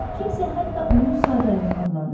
Kimsə hətta onu sadəlövh adlandırardı.